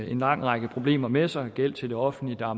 en lang række problemer med sig såsom gæld til det offentlige og